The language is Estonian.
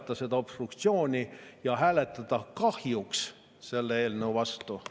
… kui jätkata obstruktsiooni ja hääletada kahjuks selle eelnõu vastu.